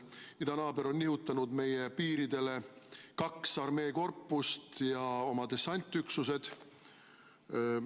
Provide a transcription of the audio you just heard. Idanaaber on nihutanud meie piiridele kaks armeekorpust ja oma dessantüksused.